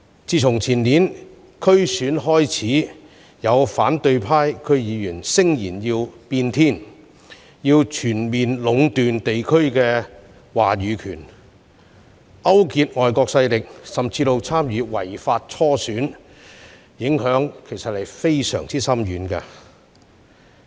自前年區議會選舉以來，有反對派區議員聲言要"變天"，要全面壟斷地區的話語權，勾結外國勢力甚至參與違法初選，造成非常深遠的影響。